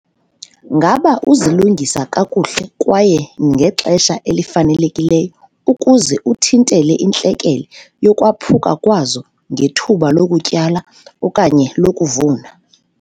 Ngaba uzilungisa kakuhle kwaye ngexesha elifanelekileyo ukuze uthintele intlekele yokwaphuka kwazo ngethuba lokutyala okanye lokuvuna?